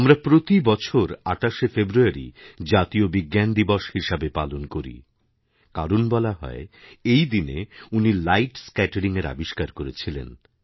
আমরা প্রতি বছর ২৮শে ফেব্রুয়ারি জাতীয় বিজ্ঞান দিবস হিসাবে পালন করিকারণ বলা হয় এই দিনে উনি লাইট স্ক্যাটারিংএর আবিষ্কার করেছিলেন